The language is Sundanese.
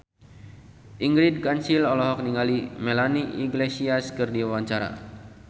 Ingrid Kansil olohok ningali Melanie Iglesias keur diwawancara